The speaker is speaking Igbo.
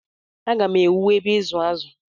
Agá m ewu ebe ịzụ azụ.